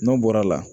N'o bɔra la